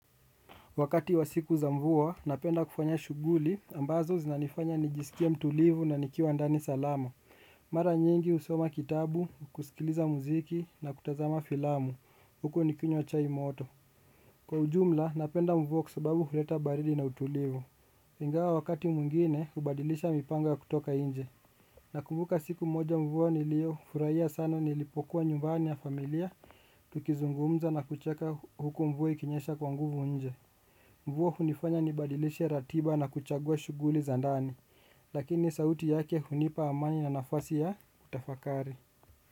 Wakati wa siku za mvua, napenda kufanya shughuli, ambazo zinanifanya nijisikie mtulivu na nikiwa ndani salama. Mara nyingi husoma kitabu, kusikiliza muziki na kutazama filamu. Huku nikinywa chai moto. Kwa ujumla, napenda mvua kwa sababu huleta baridi na utulivu. Ingawa wakati mwingine, hubadilisha mipango ya kutoka nje. Nakumbuka siku moja mvua niliyofurahia sana nilipokuwa nyumbani na familia, tukizungumza na kucheka huku mvua ikinyesha kwa nguvu nje. Mvua hunifanya nibadilishe ratiba na kuchagua shughuli za ndani, lakini sauti yake hunipa amani na nafasi ya kutafakari.